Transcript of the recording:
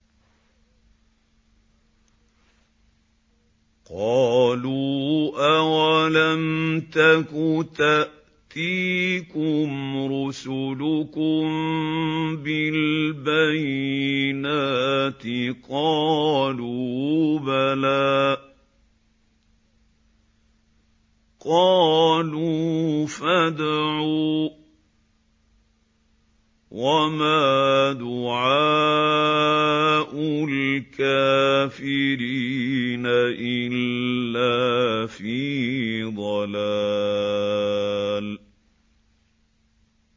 قَالُوا أَوَلَمْ تَكُ تَأْتِيكُمْ رُسُلُكُم بِالْبَيِّنَاتِ ۖ قَالُوا بَلَىٰ ۚ قَالُوا فَادْعُوا ۗ وَمَا دُعَاءُ الْكَافِرِينَ إِلَّا فِي ضَلَالٍ